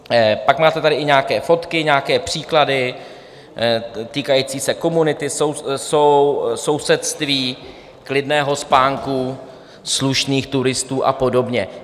Pak tu máte i nějaké fotky, nějaké příklady týkající se komunity, sousedství, klidného spánku, slušných turistů a podobně.